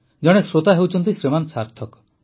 ଜଣେ ଶ୍ରୋତା ଶ୍ରୀମାନ ସାର୍ଥକ